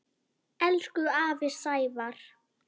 Elsku afi Sævar.